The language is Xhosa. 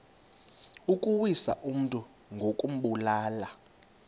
ukuwisa umntu ngokumbulala